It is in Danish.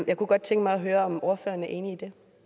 jeg kunne godt tænke mig at høre om ordføreren er enig